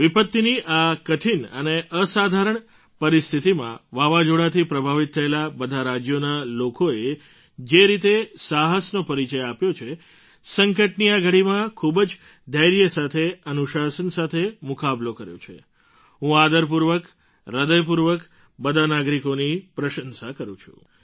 વિપત્તિની આ કઠિન અને અસાધારણ પરિસ્થિતિમાં વાવાઝોડાંથી પ્રભાવિત થયેલાં બધાં રાજ્યોના લોકોએ જે રીતે સાહસનો પરિચય આપ્યો છે સંકટની આ ઘડીમાં ખૂબ જ ધૈર્ય સાથે અનુશાસન સાથે મુકાબલો કર્યો છે હું આદરપૂર્વક હૃદયપૂર્વક બધા નાગરિકોની પ્રશંસા કરું છું